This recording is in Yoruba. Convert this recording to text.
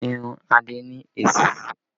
Irun adé ni èsísí